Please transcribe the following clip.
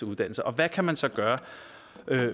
uddannelser og hvad kan man så gøre